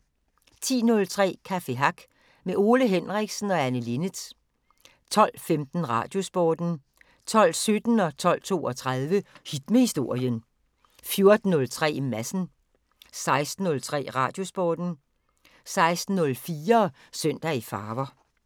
10:03: Café Hack med Ole Henriksen og Anne Linnet 12:15: Radiosporten 12:17: Hit med Historien 12:32: Hit med Historien 14:03: Madsen 16:03: Radiosporten 16:04: Søndag i farver